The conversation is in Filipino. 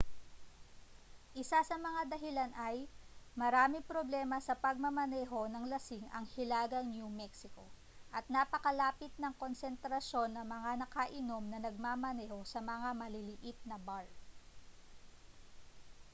isa sa mga dahilan ay maraming problema sa pagmamaneho nang lasing ang hilagang new mexico at napakalapit ng konsentrasyon ng mga nakainom na nagmamaneho sa mga maliliit na bar